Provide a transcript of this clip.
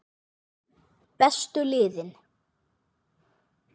Bestu liðin?